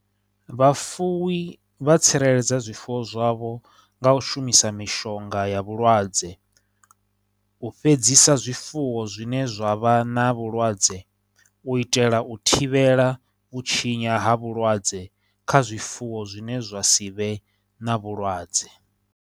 Vhafuwi vha tsireledza zwifuwo zwavho nga u shumisa mishonga ya vhulwadze u fhedzisa zwifuwo zwine zwa vha na vhulwadze u itela u thivhela u tshinya ha vhulwadze kha zwifuwo zwine zwa si vhe na vhulwadze.